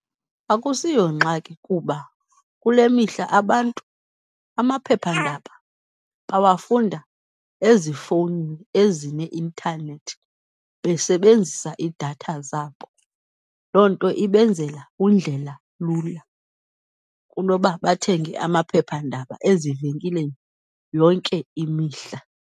Akusiyongxaki kuba kule mihla abantu amaphephandaba bawafunda ezifowunini ezineintanethi besebenzisa iidatha zabo. Loo nto ibenzela undlela lula, kunoba bathenge amaphephandaba ezivenkileni yonke imihla.